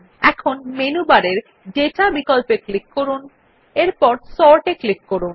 এখন মেনু বারের দাতা বিকল্পে ক্লিক করে সর্ট এ ক্লিক করুন